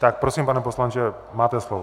Tak prosím, pane poslanče, máte slovo.